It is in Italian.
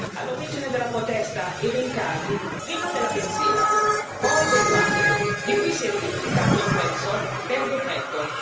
All'origine della protesta i rincari prima della benzina, poi del pane di cui si è triplicato il prezzo per decreto.